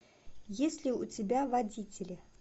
есть ли у тебя водители